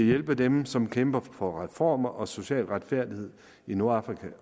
hjælpe dem som kæmper for reformer og social retfærdighed i nordafrika